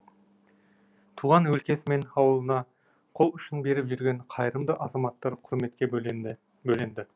туған өлкесі мен ауылына қол ұшын беріп жүрген қайырымды азаматтар құрметке бөленді